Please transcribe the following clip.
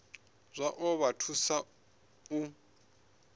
zwa ḓo vha thusa u